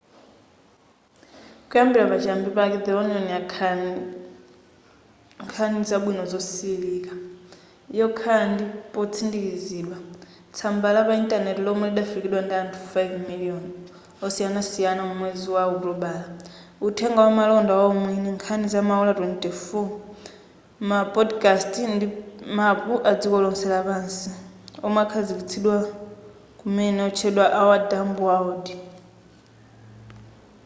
kuyambira pa chiyambi pake the onion yakhala nkhani zabwino zosililika yokhala ndi potsindikizidwa tsamba la pa intaneti lomwe lidafikiridwa ndi anthu 5,000,000 osiyanasiyana mu mwezi wa okutobala uthenga wamalonda waumwini nkhani zamaola 24 ma podcast ndi mapu adziko lonse lapansi omwe akhazikitsidwa kumene otchedwa our dumb world